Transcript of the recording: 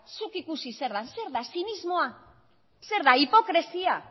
zuk ikusi zer den zer da zinismoa zer da hipokresia